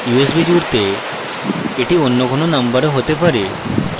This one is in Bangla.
usb জুড়তে এটি অন্য কোনো নম্বরও হতে পারে